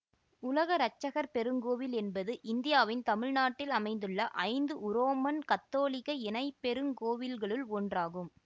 உலக இரட்சகர் பெருங்கோவில் என்பது இந்தியாவின் தமிழ்நாட்டில் அமைந்துள்ள ஐந்து உரோமன் கத்தோலிக்க இணைப் பெருங்கோவில்களுள் ஒன்று ஆகும்